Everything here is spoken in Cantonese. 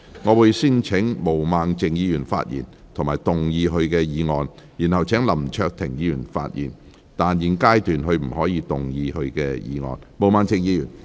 我會先請毛孟靜議員發言及動議她的議案，然後請林卓廷議員發言，但他在現階段不可動議他的議案。